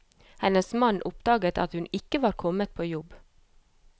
Hennes mann oppdaget at hun ikke var kommet på jobb.